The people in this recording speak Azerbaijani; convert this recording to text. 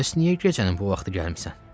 Bəs niyə gecənin bu vaxtı gəlmisən?